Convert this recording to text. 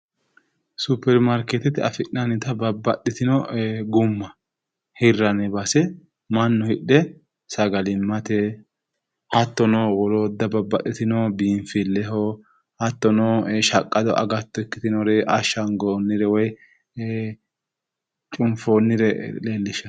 Superimaarkeetete afi'nannita babbaxitino gumma hirranni base sagalimmate hattono woloodda babbaxitino biinfilleho hattono shaqqado agatto ikkitinore ashagoonnire woyi cunfoonnire leellishshanno.